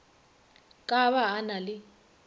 ka ba a na le